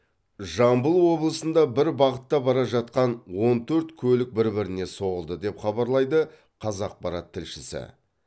жамбыл облысында бір бағытта бара жатқан он төрт көлік бір біріне соғылды деп хабарлайды қазақпарат тілшісі